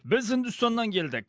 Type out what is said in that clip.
біз үндістаннан келдік